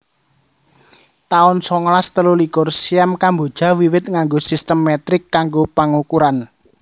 taun songolas telulikur Siam Kamboja wiwit nganggo sistem metrik kanggo pangukuran